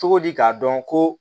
Cogo di k'a dɔn ko